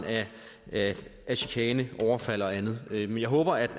af af chikane overfald og andet men jeg håber